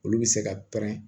Olu bɛ se ka pɛrɛn